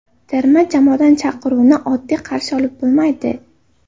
Terma jamoadan chaqiruvni oddiy qarshi olib bo‘lmaydi.